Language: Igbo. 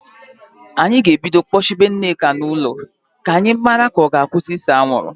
Anyị ga-ebido kpọchibe Nneka n'ụlọ ka a mara ma ọ ga-akwụsị ise anwụrụ